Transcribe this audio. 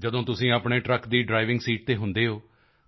ਜਦੋਂ ਤੁਸੀਂ ਆਪਣੇ ਟਰੱਕ ਦੀ ਡ੍ਰਾਈਵਿੰਗ ਸੀਟ ਤੇ ਹੁੰਦੇ ਹੋ